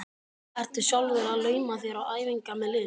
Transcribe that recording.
Ertu sjálfur að lauma þér á æfingar með liðinu?